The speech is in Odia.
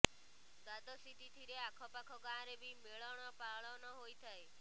ଦ୍ୱାଦଶୀ ତିଥିରେ ଆଖପାଖ ଗାଁରେ ବି ମେଳଣ ପାଳନ ହୋଇଥାଏ